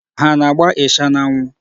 Ha ana-agba ịsha n'anwụ?